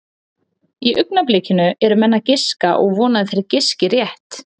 Í augnablikinu eru menn að giska og vona að þeir giski rétt.